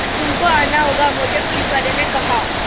तुमको आना होगा मोटे पुलिसवाले ने कहा